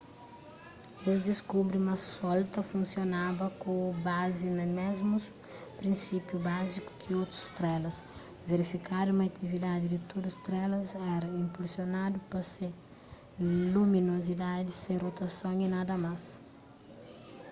es diskubri ma sol ta funsionaba ku bazi na mésmus prinsípiu báziku ki otus strelas verifikadu ma atividadi di tudu strelas éra inpulsionadu pa se luminozidadi se rotason y nada más